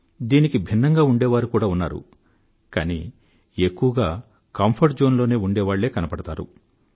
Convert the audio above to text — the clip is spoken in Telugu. దీనికి భిన్నంగా ఉండేవారు కూడా ఉన్నారు కానీ ఎక్కువగా కంఫర్ట్ జోన్ లో ఉండేవాళ్ళే కనపడతారు